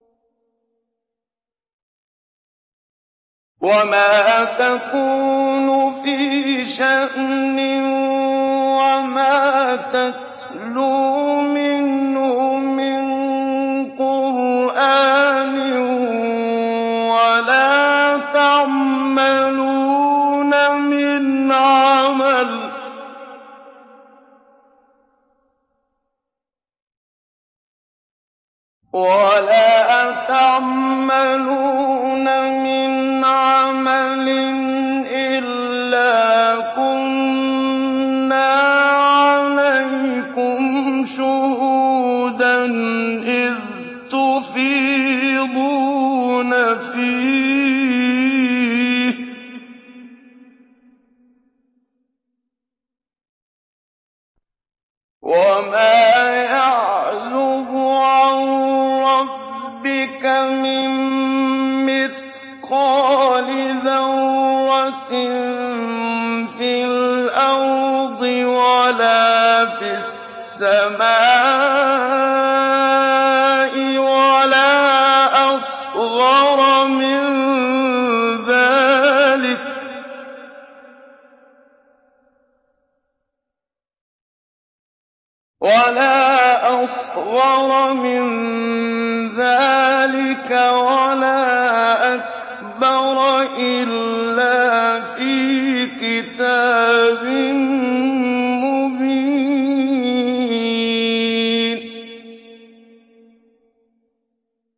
وَمَا تَكُونُ فِي شَأْنٍ وَمَا تَتْلُو مِنْهُ مِن قُرْآنٍ وَلَا تَعْمَلُونَ مِنْ عَمَلٍ إِلَّا كُنَّا عَلَيْكُمْ شُهُودًا إِذْ تُفِيضُونَ فِيهِ ۚ وَمَا يَعْزُبُ عَن رَّبِّكَ مِن مِّثْقَالِ ذَرَّةٍ فِي الْأَرْضِ وَلَا فِي السَّمَاءِ وَلَا أَصْغَرَ مِن ذَٰلِكَ وَلَا أَكْبَرَ إِلَّا فِي كِتَابٍ مُّبِينٍ